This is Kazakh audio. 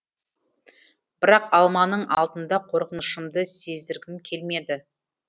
бірақ алманың алдында қорқынышымды сездіргім келмеді